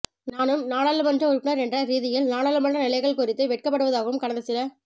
நானும் நாடாளுமன்ற உறுப்பினர் என்ற ரீதியில் நாடாளுமன்ற நிலைகள் குறித்து வெட்கப்படுவதாகவும் கடந்த சில